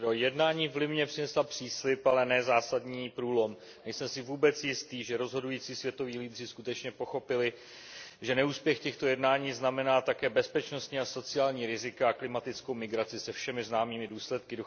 Pane předsedající, jednání v Limě přinesla příslib, ale ne zásadní průlom. Nejsem si vůbec jistý, že rozhodující světoví lídři skutečně pochopili, že neúspěch těchto jednání znamená také bezpečnostní a sociální rizika a klimatickou migraci se všemi známými důsledky.